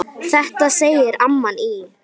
Þetta segir amman í